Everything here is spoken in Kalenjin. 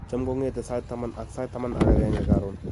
"Cham kong'ete kong'ete sait taman ak sait taman ak agenge karon."